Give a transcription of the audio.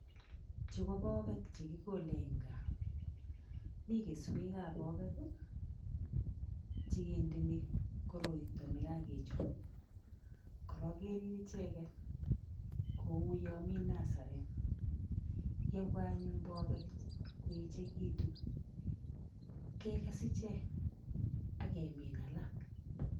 Chu ko bobek chekikole en gaa mikeswek ab bobek chekede koroito nekakechop koron Ker icheken Kou yamii nasaret yebwa anyun bobek koechekitunkekes ichek akemin alak